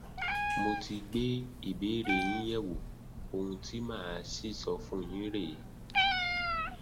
mo ti gbé ìbéèrè yín yẹwò ohun tí màá sì sọ fún yín rèé